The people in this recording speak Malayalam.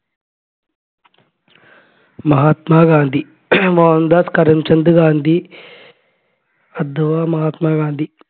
മഹാത്മാ ഗാന്ധി മോഹൻദാസ് കരംചന്ദ് ഗാന്ധി അഥവാ മഹാത്മാ ഗാന്ധി